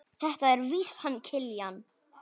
Þetta er víst hann Kiljan.